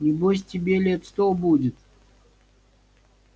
небось тебе лет сто будет